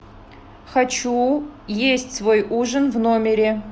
хочу есть свой ужин в номере